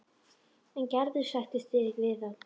En Gerður sættir sig ekki við það.